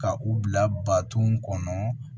Ka u bila baton kɔnɔ